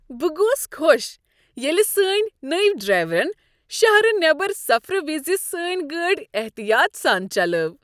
بہ گوس خوش ییٚلہ سٲنۍ نٔوۍ ڈرایورن شہرٕ نیبر سفرٕ وز سٲنۍ گٲڑۍ احتیاط سان چلٲو۔